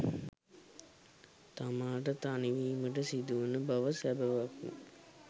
තමාට තනිවීමට සිදුවන බව සැබෑවක්මය.